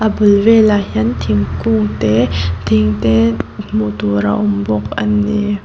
a bul velah hian thingkung te thing te hmuh tur a awm bawk ani.